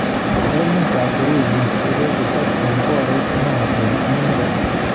Emet ab Urusi kokochob komboret neo eng emet.